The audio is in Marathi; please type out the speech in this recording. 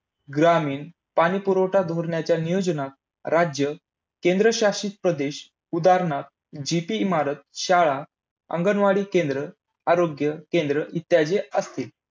ग्रामीण पाणीपुरवठा धोरणाच्या नियोजनात, राज्य, केंद्र शासित प्रदेश उदाहणार्थ ZP इमारत, शाळा, अंगणवाडी केंद्र, आरोग्य केंद्र इत्यादी असतील.